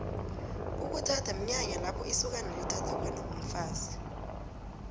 ukuthatha mnyanya lapho isokana lithatha khona umfazi